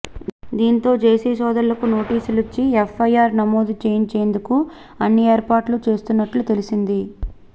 దీంతో జేసీ సోదరులకు నోటీసులిచ్చి ఎఫ్ఐఆర్ నమోదు చేయించేందుకు అన్ని ఏర్పాట్లు చేస్తున్నట్లు తెలిసింది